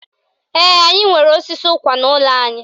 Ee, anyị nwere osisi ụkwa n'ụlọ anyị